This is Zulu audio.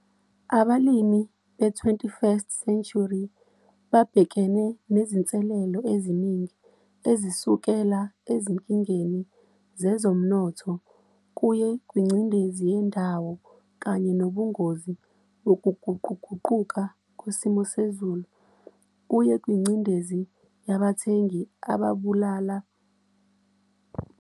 Abalimi be-21st century babhekene nezinselelo eziningi ezisukela ezinkingeni zezomnotho kuye kwingcindezi yendawo kanye nobungozi bokuguquguquka kwesimo sezulu kuye kwingcindezi yabathengi ababalula ngokufanele kwenziwe nokungafanele kwenziwe abalimi.